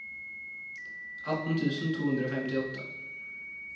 atten tusen to hundre og femtiåtte